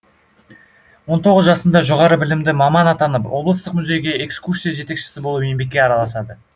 он тоғыз жасында жоғары білімді маман атанып облыстық музейге экскурсия жетекшісі болып еңбекке араласады